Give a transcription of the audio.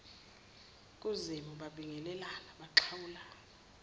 kuzimu babingelelana baxhawulana